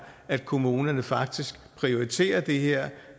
at kommunerne faktisk prioriterer det her